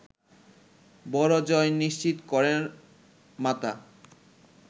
বড় জয় নিশ্চিত করেন মাতা